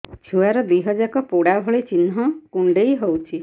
ଛୁଆର ଦିହ ଯାକ ପୋଡା ଭଳି ଚି଼ହ୍ନ କୁଣ୍ଡେଇ ହଉଛି